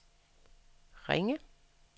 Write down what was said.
Ringe